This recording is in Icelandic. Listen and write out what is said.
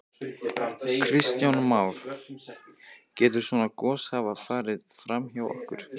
Kristján Már: Getur svona gos hafa farið fram hjá okkur?